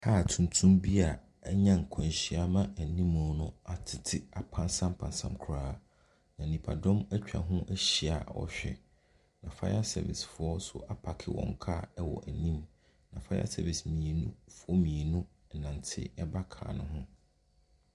Kaa tuntum bi a anya nkwanhyia ama anim no atete apansampansam koraa. Na nipadɔm atwa ho ahyia a wɔrehwɛ. Na fire service foɔ nso apaake wɔn kaa wɔ anim. Na fire service mmienu foɔ mmienu renante ba kaa no ho.